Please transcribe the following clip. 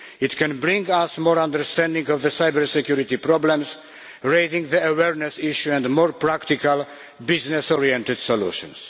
It can bring us more understanding of the cyber security problems, raising the awareness issue, and more practical, business oriented solutions.